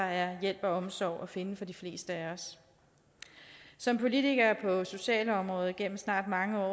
er hjælp og omsorg at finde for de fleste af os som politiker på socialområdet igennem snart mange